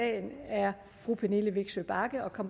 meget mere at